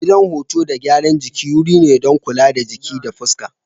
Gidan huto da gyaran jiki wuri ne don kula da jiki da fuska.